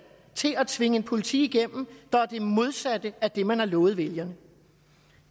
til at tvinge en politik igennem der er det modsatte af det man har lovet vælgerne